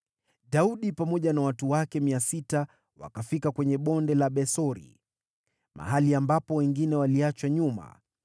Daudi pamoja na watu wake 600 wakafika kwenye Bonde la Besori, mahali ambapo wengine waliachwa nyuma,